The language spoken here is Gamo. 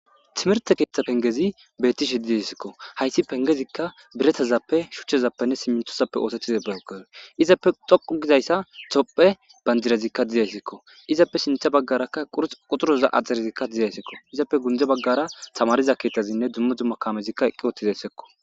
timirte keeththa pengezi bettishi didessikko haysi pengezikka biretazappe shuchchezappenne simmintosappe oosetiza bageze izappe xoqu gizayssa topphe banjirezikka dizaysikko izappe sintha baggarakka qur quturoza axxerezikka dizaysikko izappe gunde baggara tamariza keeththazinne duma duma kamezikka eqqi ottizayssekko.